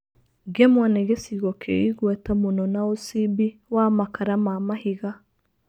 Ngemwa nĩ gĩcigo kĩ igweta mũno na ũcimbi wa makara ma mahiga